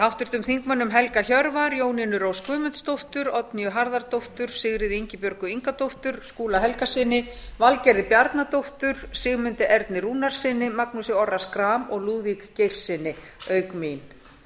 háttvirtum þingmanni helga hjörvar jónínu rós guðmundsdóttur oddnýju harðardóttur sigríði ingibjörgu ingadóttur skúla helgasyni valgerði bjarnadóttur sigmundi erni rúnarssyni magnúsi orra schram og lúðvík geirssyni auk mín